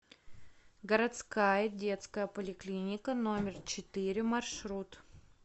городская детская поликлиника номер четыре маршрут